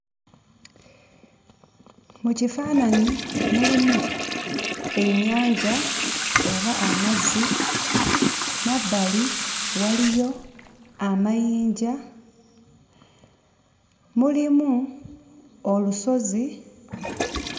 Mu kifaananyi mulimu ennyanja oba amazzi, mabbali waliyo amayinja, mulimu olusozi,